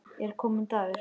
Er kominn dagur?